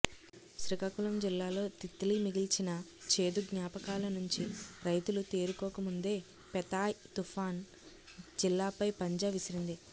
శ్రీకాకుళం జిల్లాలో తిత్లీ మిగిల్చిన చేదు జ్ఞాపకాల నుంచి రైతులు తేరుకోకముందే పెథాయ్ తుఫాను జిల్లాపై పంజా విసిరింది